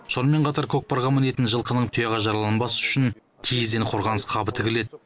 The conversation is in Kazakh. сонымен қатар көкпарға мінетін жылқының тұяғы жараланбас үшін киізден қорғаныс қабы тігіледі